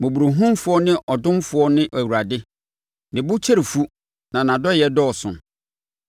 Mmɔborɔhunufoɔ ne ɔdomfoɔ ne Awurade, ne bo kyɛre fu na nʼadɔeɛ dɔɔso.